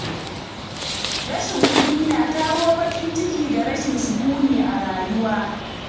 Rashin kuɗi na kawo baƙin ciki da rashin sukuni a rayuwa.